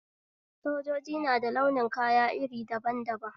Sojoji nada launin kaya iri daban daban